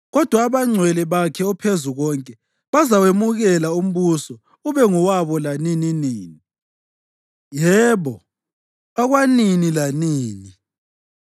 Kodwa abangcwele bakhe oPhezukonke bazawemukela umbuso ube ngowabo lanininini, yebo, okwanini lanini.”